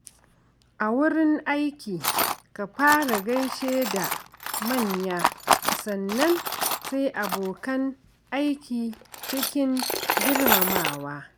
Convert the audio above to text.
A wurin aiki, ka fara gaishe da manya sannan sai abokan aiki cikin girmamawa.